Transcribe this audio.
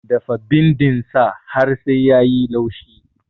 Dafa bindin sa har sai yayi laushi